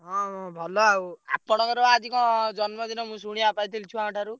ହଁ ଭଲ ଆଉ, ଆପଣଙ୍କର ବା ଆଜି କଣ ଜନ୍ମଦିନ ମୁଁ ଶୁଣିଆକୁ ପାଇଥିଲି ଛୁଆଙ୍କ ଠାରୁ।